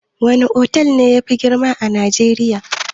Wana otal ne yafi girma a najeriya?